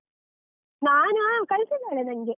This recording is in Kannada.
ನಾನಾ ಹಾ ಕಳ್ಸಿದ್ದಾಳೆ ನಂಗೆ.